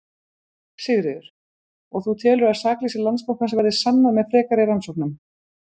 Sigríður: Og þú telur að sakleysi Landsbankans verði sannað með frekari rannsóknum?